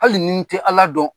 Hali ni n tɛ Ala dɔn